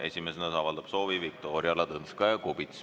Esimesena avaldab soovi Viktoria Ladõnskaja-Kubits.